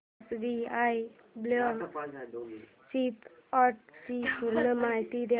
SBI blue chip fund ची पूर्ण माहिती दे